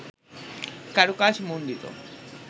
কারুকাজ মন্ডিত